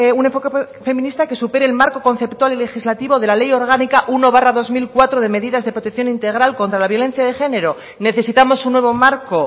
un enfoque feminista que supere el marco conceptual y legislativo de la ley orgánica uno barra dos mil cuatro de medidas de protección integral contra la violencia de género necesitamos un nuevo marco